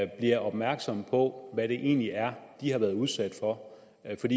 bliver opmærksomme på hvad det egentlig er de har været udsat for altså